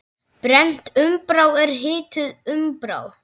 Brennd úmbra er hituð úmbra.